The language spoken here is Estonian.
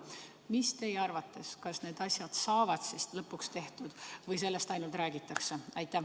Kas teie arvates need asjad saavad siis lõpuks tehtud või sellest ainult räägitakse?